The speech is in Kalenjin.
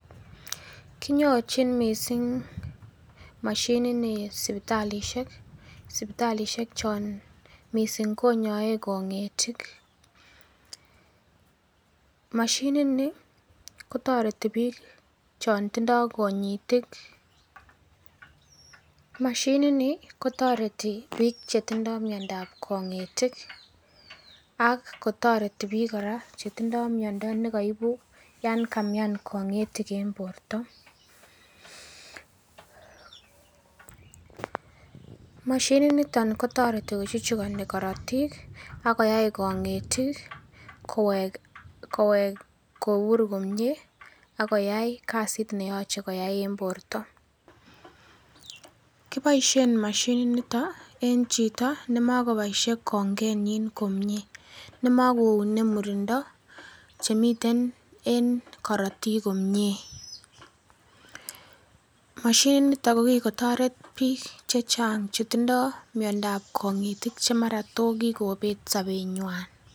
kinyorjin mising' moshinit nii sibitalisheek chon mising konyoee kongeetik, moshinit nii kootoreti biik chon tindoo konyiitik moshinit niih kotoreti biik chetindoo myondoo ab kongiitik ak kotoreti biik koraa chitindoo myondo negoibuu yaan kamyaan kongetitik en borto mashinit niton kotoreti kochuchugoni korotiik ak koyaai koneetik koweek kobuur komyee ak koyaai kasit neyoche koyai en borto, kiboisheen moshinit niton en chito nemokoboishe kongenyiin komyee nemagounee murindo chemiten en korotik komyee, moshinit niton kogigotoret biik chechang chetindoo myondooab kongitik chemara tokigobeet sobeenywaan